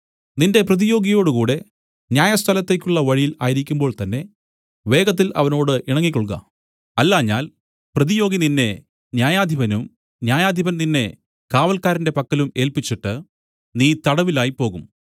നിന്റെ പ്രതിയോഗിയോടുകൂടെ ന്യായസ്ഥലത്തേക്കുള്ള വഴിയിൽ ആയിരിക്കുമ്പോൾ തന്നേ വേഗത്തിൽ അവനോട് ഇണങ്ങിക്കൊൾക അല്ലാഞ്ഞാൽ പ്രതിയോഗി നിന്നെ ന്യായാധിപനും ന്യായാധിപൻ നിന്നെ കാവൽക്കാരന്റെ പക്കലും ഏല്പിച്ചിട്ട് നീ തടവിലായ്പോകും